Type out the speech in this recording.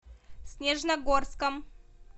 снежногорском